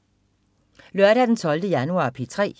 Lørdag den 12. januar - P3: